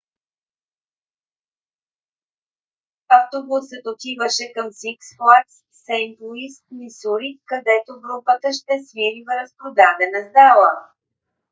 автобусът отиваше към сикс флагс сейнт луис мисури където групата ще свири в разпродадена зала